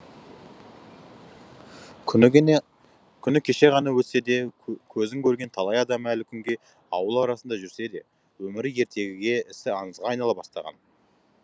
күні кеше ғана өтсе де көзін көрген талай адам әлі күнге ауыл арасында жүрсе де өмірі ертегіге ісі аңызға айнала бастаған